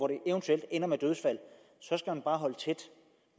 det eventuelt ender med dødsfald så skal man bare holde tæt